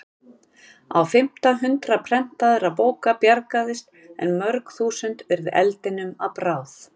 Á fimmta hundrað prentaðra bóka bjargaðist en mörg þúsund urðu eldinum að bráð.